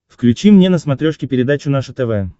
включи мне на смотрешке передачу наше тв